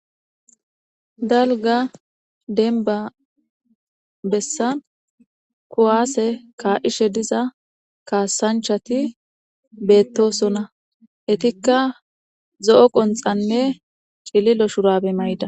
Dalga denba bessa kuwaase ka7ishe diza kaasanchati beettosona etikka zo7o qonxanne cililo shurabe mayda.